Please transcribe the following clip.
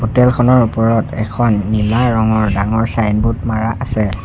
হোটেলখনৰ ওপৰত এখন নীলা ৰঙৰ ডাঙৰ ছাইনবোৰ্ড মাৰা আছে।